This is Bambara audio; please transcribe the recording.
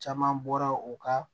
Caman bɔra u ka